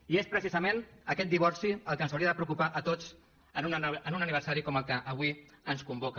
i és precisament aquest divorci el que ens hauria de preocupar a tots en un aniversari com el que avui ens convoca